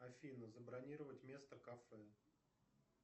афина забронировать место в кафе